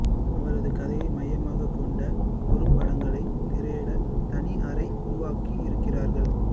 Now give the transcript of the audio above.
அவரது கதையை மையமாகக் கொண்ட குறும்படங்களைத் திரையிடத் தனி அறை உருவாக்கியிருக்கிறார்கள்